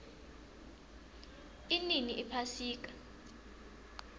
inini iphasika